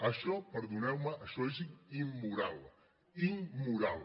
això perdoneu me és immoral immoral